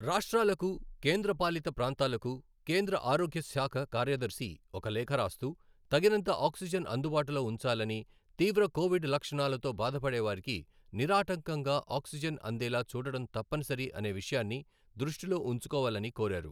రాష్ట్రాలకు, కేంద్రపాలిత ప్రాంతాలకు కేంద్ర ఆరోగ్య శాఖ కార్యదర్శి ఒక లేఖ రాస్తూ, తగినంత ఆక్సిజెన్ అందుబాటులో ఉంచాలని, తీవ్ర కోవిడ్ లక్షణాలతో బాధపడేవారికి నిరాటంకంగా ఆక్సిజెన్ అందేలా చూడటం తప్పనిసరి అనే విషయాన్ని దృష్టిలో ఉంచుకోవాలని కోరారు.